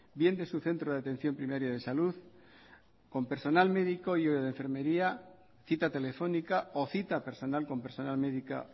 bien de su centro de atención primaria de salud con personal médico y o de enfermería cita telefónica o cita personal con personal médica